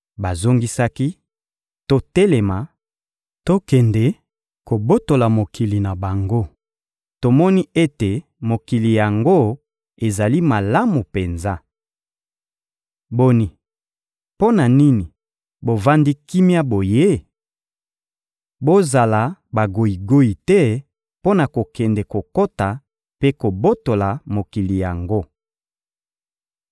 Bazongisaki: — Totelema, tokende kobotola mokili na bango! Tomoni ete mokili yango ezali malamu penza. Boni! Mpo na nini bovandi kimia boye? Bozala bagoyigoyi te mpo na kokende kokota mpe kobotola mokili yango.